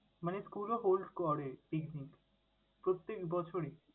মানে school ও hold করে picnic, প্রত্যেক বছরেই?